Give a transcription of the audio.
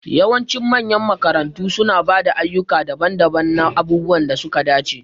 Yawancin manyan makarantu suna ba da ayyuka daban-daban na abubuwan da suka dace.